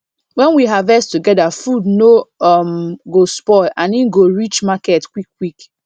when we harvest together food no um go spoil and e go reach market quick quick